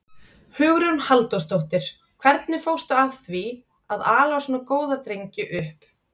Hugrún Halldórsdóttir: Hvernig fórstu að því að, að ala svona góða drengi upp?